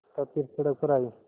तब फिर सड़क पर आये